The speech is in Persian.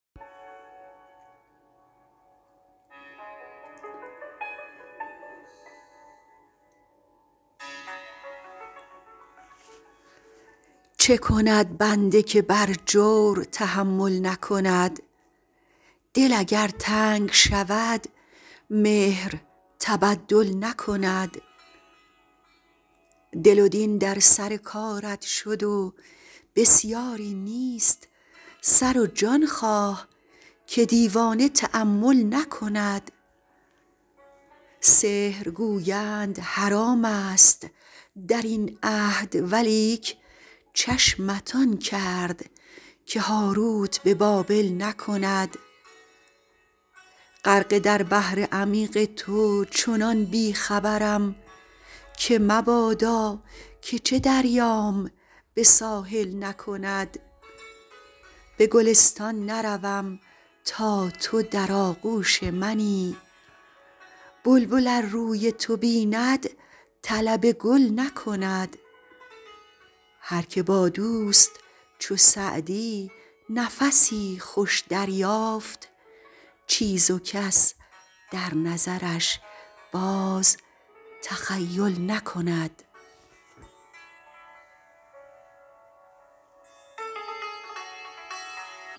چه کند بنده که بر جور تحمل نکند دل اگر تنگ شود مهر تبدل نکند دل و دین در سر کارت شد و بسیاری نیست سر و جان خواه که دیوانه تأمل نکند سحر گویند حرام ست در این عهد ولیک چشمت آن کرد که هاروت به بابل نکند غرقه در بحر عمیق تو چنان بی خبرم که مبادا که چه دریام به ساحل نکند به گلستان نروم تا تو در آغوش منی بلبل ار روی تو بیند طلب گل نکند هر که با دوست چو سعدی نفسی خوش دریافت چیز و کس در نظرش باز تخیل نکند